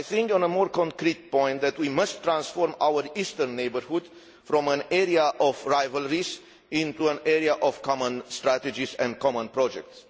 On a more concrete point, we must transform our eastern neighbourhood from an area of rivalries into an area of common strategies and common projects.